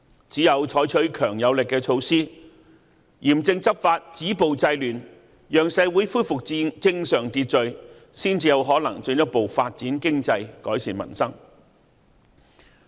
只有採取強而有力的措施，嚴正執法，止暴制亂，讓社會恢復正常秩序，才有可能進一步發展經濟、改善民生。